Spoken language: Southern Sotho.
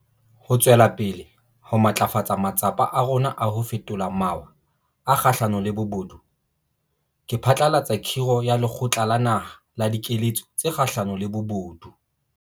Ho tswela pele ho matlafatsa matsapa a rona a ho fetola mawa a kgahlano le bobodu, ke phatlalatsa khiro ya Lekgotla la Naha la Dikeletso tse Kgahlano le Bobodu.